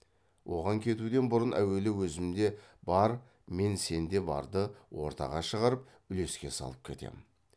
оған кетуден бұрын әуелі өзімде бар мен сенде барды ортаға шығарып үлеске салып кетемін